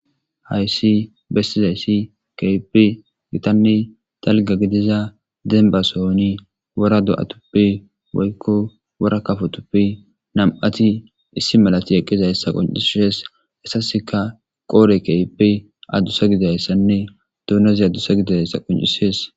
Hayssi bessizayssi keipi gitanni talga gidiza denbasohoni wora do'atuppi woykko wora kafotuppi nam'ati issi malati eqqiza hessa qoncisees assaseka qoore keipi addusa gidayssanne duunezi addusa gidayssa qoncisees.